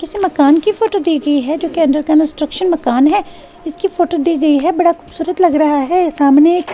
इस मकान की फोटो दी गई है जो कि अंडर कंस्ट्रक्शन मकान है इसकी फोटो दी गई है बड़ा खूबसूरत लग रहा है यह सामने--